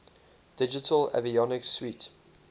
digital avionics suite